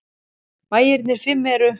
Bæirnir fimm eru